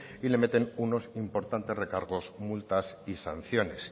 y le meten unos importantes recargos multas y sanciones